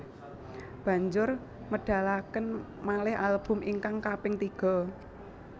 Banjur medalaken malih album ingkang kaping tiga